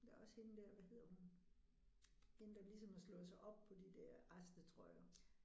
Der også hende der hvad hedder hun. Hende der ligesom har slået sig op på de der restetrøjer